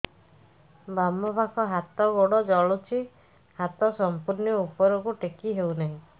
ବାମପାଖ ହାତ ଗୋଡ଼ ଜଳୁଛି ହାତ ସଂପୂର୍ଣ୍ଣ ଉପରକୁ ଟେକି ହେଉନାହିଁ